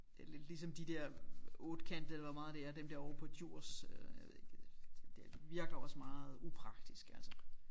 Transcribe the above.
Det er lidt ligesom de der ottekantede eller hvor meget det er dem der ovre på Djurs øh jeg ved ikke øh det virker også meget upraktisk altså